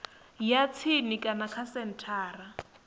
ya tsini kana kha senthara